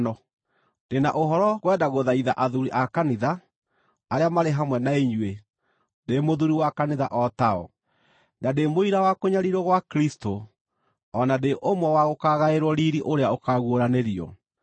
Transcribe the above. Ndĩ na ũhoro ngwenda gũthaitha athuuri a Kanitha arĩa marĩ hamwe na inyuĩ, ndĩ mũthuuri wa Kanitha o tao, na ndĩ mũira wa kũnyariirwo gwa Kristũ, o na ndĩ ũmwe wa gũkaagaĩrwo riiri ũrĩa ũkaaguũranĩrio: